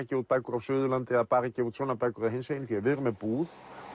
gefa út bækur á Suðurlandi eða bara gefa út svona bækur eða hinsegin því við erum með búð